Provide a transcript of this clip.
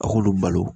A k'olu balo